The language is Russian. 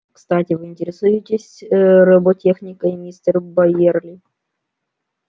кстати вы интересуетесь роботехникой мистер байерли